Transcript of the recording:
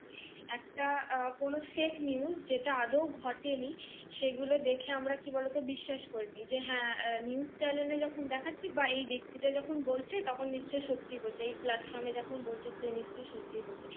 একটা উহ কোন FAKENEWS যে আদৌ ঘটেনি। সে গুলো দেখে আমরা কি বলত বিশ্বাস করি যে হ্যা NEWSCHANNEL এ দেখাচ্ছি বা এ ব্যক্তি টা যখন বলছে তখন নিশ্চই সত্যি বুঝি, এই PLATFORM যখন বলছি যে সে নিশ্চই সত্যি বলছে।